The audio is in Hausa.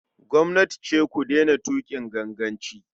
Gwamnati ce ku daina tuƙin ganganci.